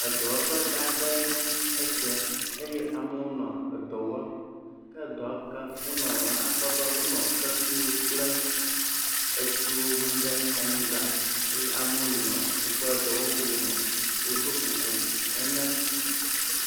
Edɔwɔƒe gãã aɖee nye esia eye amewo nɔ edɔ wɔm. ke edɔ yi ke wonɔ wɔwɔ akpɔ be wonɔ kpekuiwo kple etsiwo wum ɖe anyigba eye amewo nɔ woƒe dɔwɔwuwo me. Wodo kuku hene.